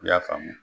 I y'a faamu